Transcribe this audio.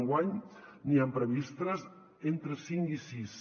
enguany n’hi ha previstes entre cinc i sis